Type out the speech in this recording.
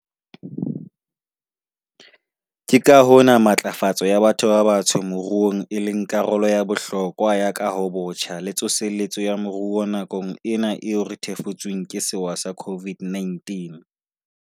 Ke ka hona matlafatso ya batho ba batsho moruong e leng karolo ya bohlokwa ya kahobotjha le tsosoloso ya moruo nakong ena eo re thefutsweng ke sewa sa COVID-19.